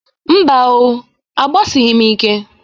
Mba o, agbasịghịm ike.